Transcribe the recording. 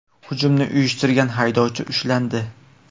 Hujumni uyushtirgan haydovchi ushlandi.